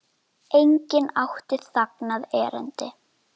Enginn átti þangað erindi.